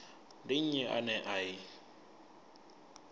ndi nnyi ane a i